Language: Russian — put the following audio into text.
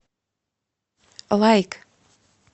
лайк